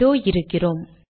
இதோ இருக்கிறோம்